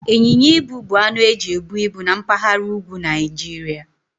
Ịnyịnya ibu bụ anụ eji ebu ibu na mpaghara úgwú Naijiria.